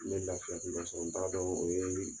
N bɛ lafiya sugu dɔ sɔrɔ. n ta dɔn o ye